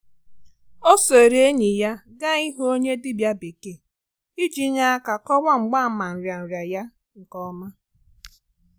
O sooro enyi ya gaa ị hụ onye dibia bekee iji nye aka kọwaa mgbaàmà nrianria ya nke ọma.